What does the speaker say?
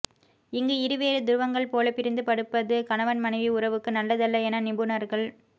இங்கு இருவேறு துருவங்கள் போல பிரிந்து படுப்பது கணவன் மனைவி உறவுக்கு நல்லதல்ல என நிபுணர்கள்